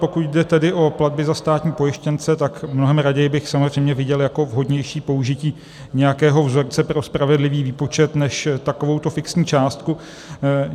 Pokud jde tedy o platby za státní pojištěnce, tak mnohem raději bych samozřejmě viděl jako vhodnější použití nějakého vzorce pro spravedlivý výpočet než takovouto fixní částku.